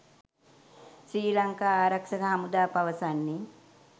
ශ්‍රී ලංකා ආරක්ෂක හමුදා පවසන්නේ.